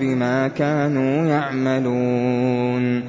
بِمَا كَانُوا يَعْمَلُونَ